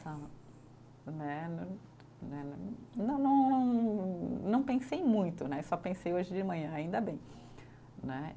Né né, né né, não não, não pensei muito né, só pensei hoje de manhã, ainda bem né.